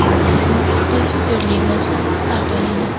Bugun Xitoy Super ligasi start oladi.